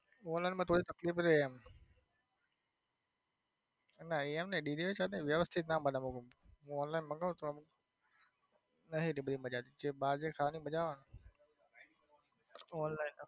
online માં થોડી તકલીફ રે ના એમ નઈ delivery.